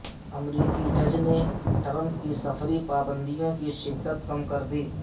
امریکی جج نے ٹرمپ کی سفری پابندیوں کی شدت کم کر دی